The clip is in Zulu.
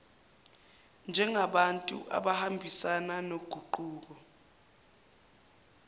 njengabantu abangahambisani noguquko